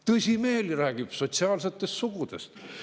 Tõsimeeli räägib sotsiaalsetest sugudest.